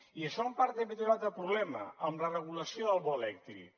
i això en part també té un altre problema amb la regulació del bo elèctric